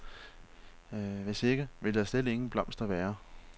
Hvis ikke, vil der slet ingen blomster være.